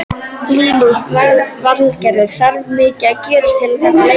Lillý Valgerður: Þarf mikið að gerast til að þetta leysist?